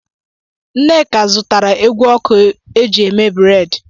Nneka zụtara ekwụ ọkụ eji eme breedi.